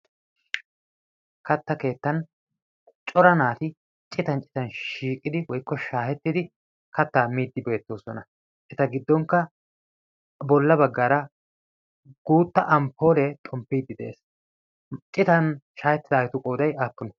katta keettan cora naati citan citan shiiqidi woykko shaahettidi kattaa miiddi beettoosona. eta giddonkka bolla baggaara guutta amporee xomppiiddi de'ees. citan shaahettidagetu qooday aykkenee?